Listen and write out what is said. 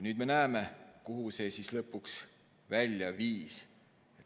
Nüüd me näeme, kuhu see lõpuks välja viis.